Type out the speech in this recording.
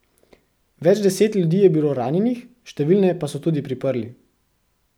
Več deset ljudi je bilo ranjenih, številne pa so tudi priprli.